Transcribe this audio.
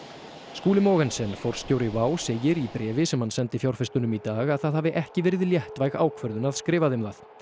Skúli Mogensen forstjóri Wow segir í bréfi sem hann sendi fjárfestum í dag að það hafi ekki verið léttvæg ákvörðun að skrifa þeim það